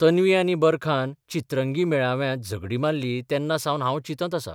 तन्वी आनी बरखान 'चित्रंगी 'मेळाव्यांत झगडीं मारलीं तेन्नासावन हांब चिंतत आसां